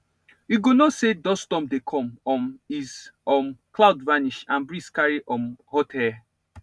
you go know say dust storm dey come um is um cloud vanish and breeze carry um hot air